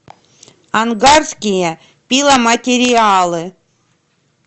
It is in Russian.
ангарские пиломатериалы